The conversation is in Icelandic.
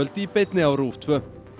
í beinni á RÚV tvær